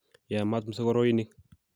yamaat msogoroinik